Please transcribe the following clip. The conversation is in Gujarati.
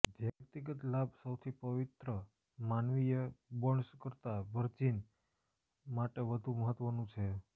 વ્યક્તિગત લાભ સૌથી પવિત્ર માનવીય બોન્ડ્સ કરતાં વર્જિન માટે વધુ મહત્વનું છે